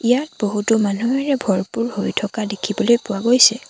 ইয়াত বহুতো মানুহেৰে ভৰপুৰ হৈ থকা দেখিবলৈ পোৱা গৈছে।